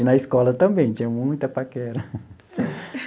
E na escola também, tinha muita paquera.